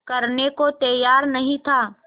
करने को तैयार नहीं था